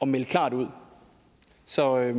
melde klart ud så jeg